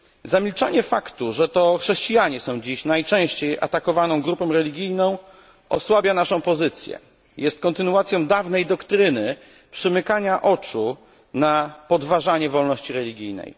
Zamilczenie faktu, że to chrześcijanie są dziś najczęściej atakowaną grupą religijną osłabia naszą pozycję, jest kontynuacją dawnej doktryny przymykania oczu na podważanie wolności religijnej.